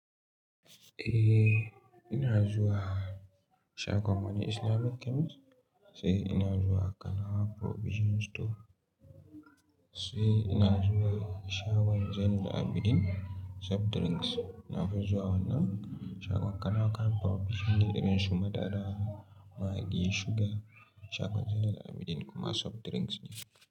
Eh ina zuwa shagon wani Islamic chemist sai ina zuwa Kanawa Provision store sai ina zuwa shagon Zainab Abidin soft drinks. Na fi zuwa wannan shagon Kanawa camp provision ne irin su madara, maggi, sugar shagon Zainab Abidin kuma soft drinks ne.